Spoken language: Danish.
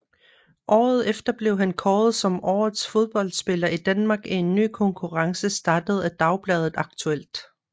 Året efter blev han kåret som Årets Fodboldspiller i Danmark i en ny konkurrence startet af dagbladet Aktuelt